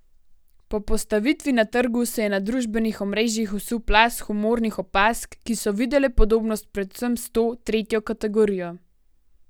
Po postavitvi na trgu se je na družbenih omrežjih vsul plaz humornih opazk, ki so videle podobnost predvsem s to, tretjo kategorijo.